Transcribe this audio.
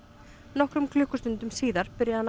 nokkrum klukkustundum síðar byrjaði hann